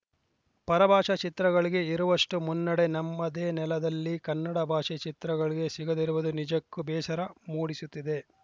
ಪರಭಾಷೆ ಚಿತ್ರಗಳಿಗೆ ಇರುವಷ್ಟುಮನ್ನಣೆ ನಮ್ಮದೇ ನೆಲದಲ್ಲಿ ಕನ್ನಡ ಭಾಷೆ ಚಿತ್ರಗಳಿಗೆ ಸಿಗದಿರುವುದು ನಿಜಕ್ಕೂ ಬೇಸರ ಮೂಡಿಸುತ್ತಿದೆ